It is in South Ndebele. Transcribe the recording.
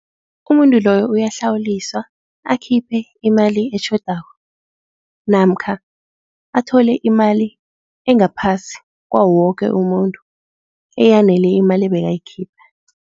Umuntu loyo uyahlawuliswa akhiphe imali etjhodako namkha athole imali engaphasi kwawoke umuntu eyanele imali ebekayikhipha.